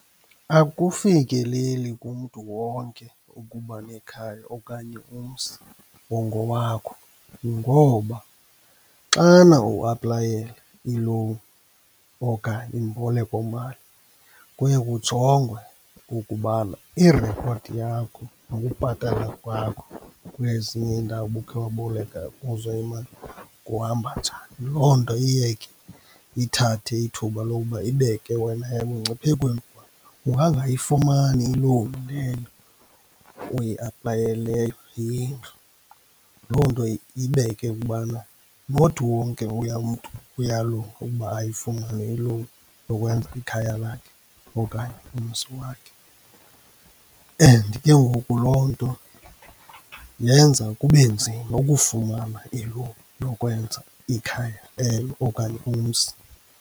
Akufikeleli kumntu wonke ukuba nekhaya okanye umzi ongowakho ngoba xana uaplayela i-loan okanye imbolekomali kuye kujongwe ukubana i-report yakho nokubhatala kwakho kwezinye iindawo ubukhe waboleka kuzo imali kuhamba njani. Loo nto iye ke ithathe ithuba lowuba ibeke wena emngciphekweni, ungangayifumani i-loan leyo uyi aplayeleyo yendlu. Loo nto ibeke ukubana not wonke mntu uyalunga ukuba ayifumane i-loan yokwenza ikhaya lakhe okanye umzi wakhe. And kengoku loo nto yenza kube nzima ukufumana i-loan yokwenza ikhaya elo okanye umzi.